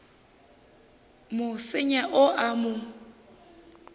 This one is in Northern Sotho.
mo senya o a mo